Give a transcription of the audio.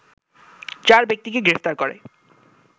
চার ব্যক্তিকে গ্রেপ্তার করে